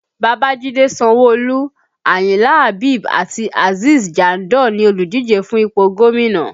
Babajide Sanwo-Olu, Ayinla Habeeb àti Azeez Jandor ni oludije fún ipò gómìnà